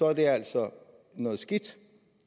er det altså noget skidt